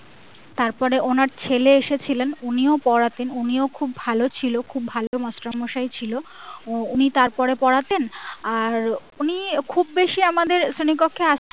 তারপরে ওনার ছেলে এসেছিলেন উনিও পড়াতেন উনিও খুব ভালো ছিলেন খুব ভালো মাষ্টারমশাই ছিল উনি তারপরে পড়াতেন আর উনি খুব বেশি আমাদের শ্রেণী কক্ষে আসতেন না